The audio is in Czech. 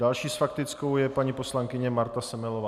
Další s faktickou je paní poslankyně Marta Semelová.